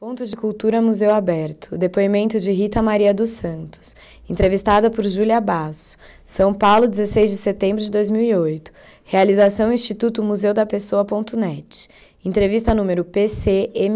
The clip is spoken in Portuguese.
Ponto de Cultura Museu Aberto, depoimento de Rita Maria dos Santos, entrevistada por Júlia Basso, São Paulo, dezesseis de setembro de dois mil e oito, realização Instituto Museu da Pessoa, net, entrevista número PCMA...